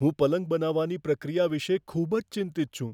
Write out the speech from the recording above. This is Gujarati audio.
હું પલંગ બનાવવાની પ્રક્રિયા વિશે ખૂબ જ ચિંતિત છું.